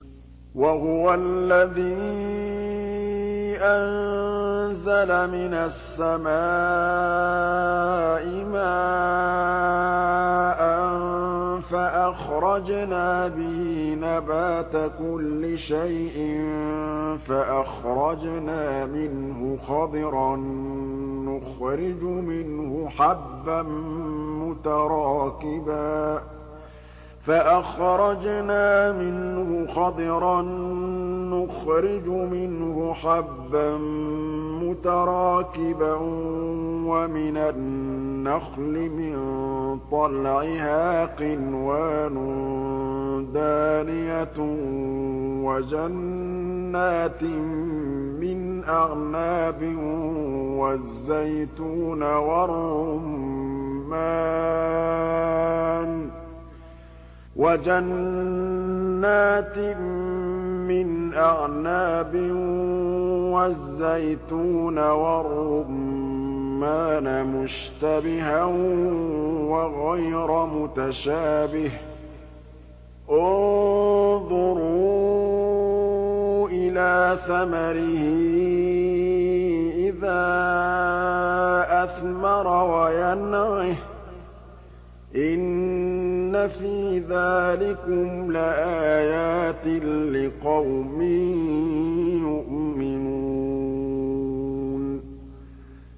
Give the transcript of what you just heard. وَهُوَ الَّذِي أَنزَلَ مِنَ السَّمَاءِ مَاءً فَأَخْرَجْنَا بِهِ نَبَاتَ كُلِّ شَيْءٍ فَأَخْرَجْنَا مِنْهُ خَضِرًا نُّخْرِجُ مِنْهُ حَبًّا مُّتَرَاكِبًا وَمِنَ النَّخْلِ مِن طَلْعِهَا قِنْوَانٌ دَانِيَةٌ وَجَنَّاتٍ مِّنْ أَعْنَابٍ وَالزَّيْتُونَ وَالرُّمَّانَ مُشْتَبِهًا وَغَيْرَ مُتَشَابِهٍ ۗ انظُرُوا إِلَىٰ ثَمَرِهِ إِذَا أَثْمَرَ وَيَنْعِهِ ۚ إِنَّ فِي ذَٰلِكُمْ لَآيَاتٍ لِّقَوْمٍ يُؤْمِنُونَ